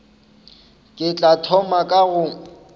ke tla thoma ka go